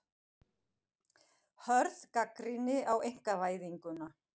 Hörð gagnrýni á einkavæðinguna